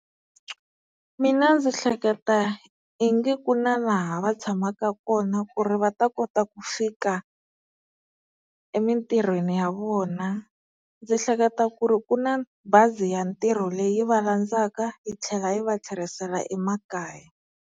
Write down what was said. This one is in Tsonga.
Mina ndzi hleketa i nge ku na laha va tshamaka kona ku ri va ta kota ku fika emintirhweni ya vona. Ndzi hleketa ku ri ku na bazi ya ntirho leyi va landzaka yi tlhela yi va tlherisela emakaya.